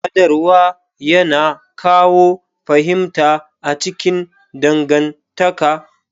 Sadarwa yana kawo fahimta a cikin dangantaka.